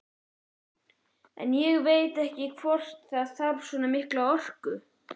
En ég veit ekkert hvort það þarf svona mikla orku.